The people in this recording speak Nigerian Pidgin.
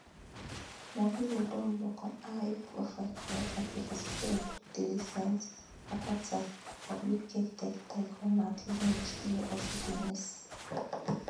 morvillo don work on high profile corruption cases wey include di recent acquittal of uk tech tycoon mike lynch wey also dey miss